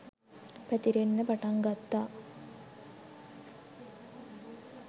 පැතිරෙන්න පටන් ගත්තා